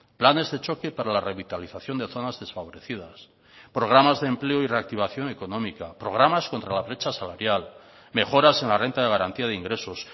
planes de choque para la revitalización de zonas desfavorecidas programas de empleo y reactivación económica programas contra la brecha salarial mejoras en la renta de garantía de ingresos